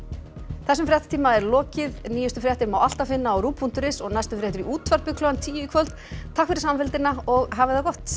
þessum fréttatíma er lokið nýjustu fréttir má alltaf finna á rúv punktur is og næstu fréttir í útvarpi klukkan tíu í kvöld takk fyrir samfylgdina og hafið það gott